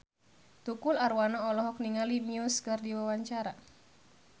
Tukul Arwana olohok ningali Muse keur diwawancara